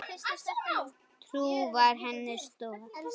Trú var henni stoð.